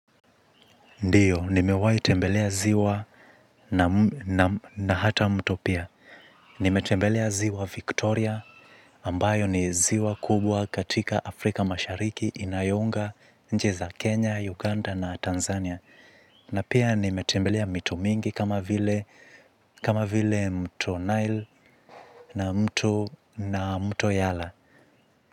Ndio, nimewahi tembelea ziwa na hata mto pia. Nime tembelea ziwa Victoria, ambayo ni ziwa kubwa katika Afrika mashariki inayounga nchi za Kenya, Uganda na Tanzania. Na pia nime tembelea mito mingi kama vile kama vile mto Nile na mto yala.